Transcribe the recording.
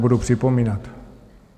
Nebudu připomínat.